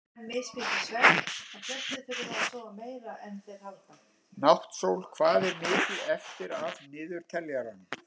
Náttsól, hvað er mikið eftir af niðurteljaranum?